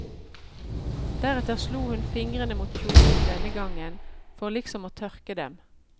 Deretter slo hun fingrene mot kjolen denne gangen, for liksom å tørke dem.